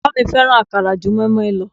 Bàbá mi fẹ́ràn akara ju moinmoin lọ